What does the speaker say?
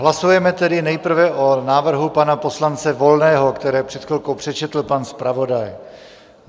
Hlasujeme tedy nejprve o návrhu pana poslance Volného, který před chvilkou přečetl pan zpravodaj.